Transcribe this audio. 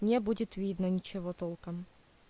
не будет видно ничего толком